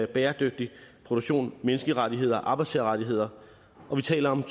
bæredygtig produktion menneskerettigheder og arbejdstagerrettigheder og vi taler om